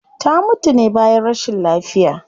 Ta mutu ne bayan rashin lafiya